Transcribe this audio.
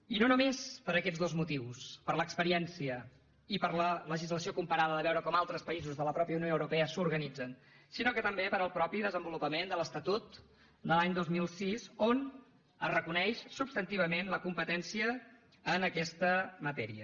i no només per aquests dos motius per l’experiència i per la legislació comparada de veure com altres països de la mateixa unió europea s’organitzen sinó també pel mateix desenvolupament de l’estatut de l’any dos mil sis on es reconeix substantivament la competència en aquesta matèria